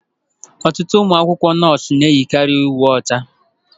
Ọtụtụ ụmụ akwụkwọ nọọsụ na-eyi karị uwe ọcha.